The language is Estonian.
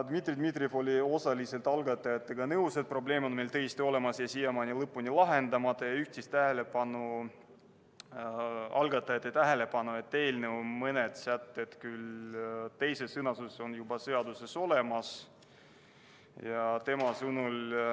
Dmitri Dmitrijev oli osaliselt algatajatega nõus, et probleem on tõesti olemas ja siiamaani lõpuni lahendamata, ning juhtis nende tähelepanu sellele, et mõned eelnõu sätted – küll teises sõnastuses – on juba seaduses olemas.